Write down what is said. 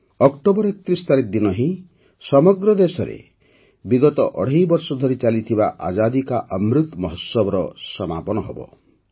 October ୩୧ ତାରିଖ ଦିନ ହିଁ ସମଗ୍ର ଦେଶରେ ବିଗତ ଅଢ଼େଇ ବର୍ଷ ଧରି ଚାଲିଥିବା ଆଜାଦୀ କା ଅମୃତ ମହୋତ୍ସବର ସମାପନ ହେବ